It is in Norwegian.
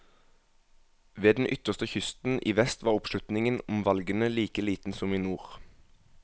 Ved den ytterste kysten i vest var oppslutningen om valgene like liten som i nord.